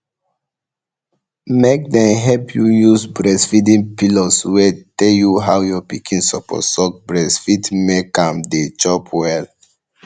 make make dem help you use breastfeeding pillows wait tell you how your pikin suppose suck breast fit make am dey chop well